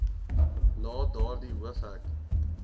na daardie hoofhek